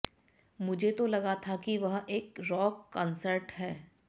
मुझे तो लगा था कि वह एक रॉक कॉन्सर्ट था